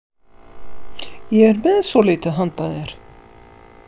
Ég er með svolítið handa þér